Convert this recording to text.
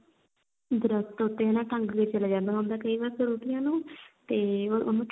ਦਰਖੱਤ ਉੱਤੇ ਹਨਾ ਟੰਗ ਕੇ ਚੱਲਾ ਜਾਂਦਾ ਹੁੰਦਾ ਕਈ ਵਾਰ ਫਰੂਟੀਆਂ ਨਾ ਉਹ ਤੇ ਉਹ ਉਹਨੂੰ